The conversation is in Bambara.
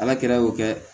Ala kɛra y'o kɛ